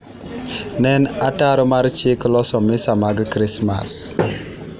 ne en ataro mar chik loso misa mag krismas